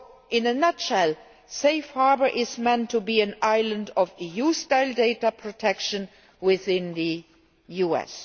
In a nutshell, Safe Harbour is meant to be an island of EU style data protection within the US.